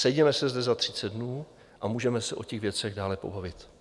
Sejděme se zde za 30 dnů a můžeme se o těch věcech dále pobavit.